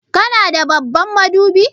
Kana da babban madubi?